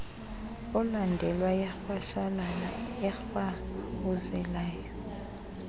olandelwa yirhwashalala erhawuzelayo